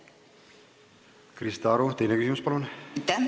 Krista Aru, teine küsimus, palun!